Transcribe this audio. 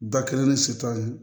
Da kelen ni sitan ye